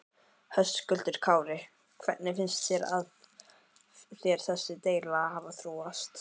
Höskuldur Kári: Hvernig finnst þér þessi deila hafa þróast?